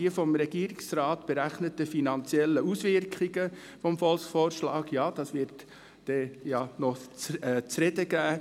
Die vom Regierungsrat berechneten finanziellen Auswirkungen des Volksvorschlags werden noch zu reden geben.